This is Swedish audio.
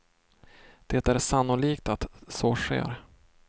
Det är sannolikt att så sker.